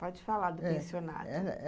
Pode falar do pensionato.